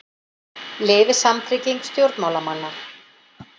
Lifi samtrygging stjórnmálamanna